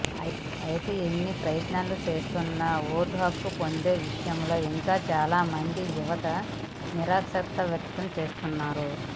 అయితే ఎన్ని ప్రయత్నాలు చేస్తున్నా ఓటు హక్కు పొందే విషయంలో ఇంకా చాలామంది యువత నిరాసక్తత వ్యక్తం చేస్తున్నారు